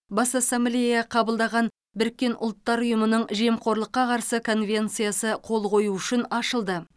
бас ассамблея қабылдаған біріккен ұлттар ұйымының жемқорлыққа қарсы конвенциясы қол қою үшін ашылды